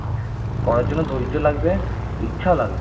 করার জন্য ধৈর্য লাগবে ইচ্ছা লাগবে